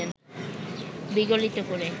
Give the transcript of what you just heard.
বিগলিত করে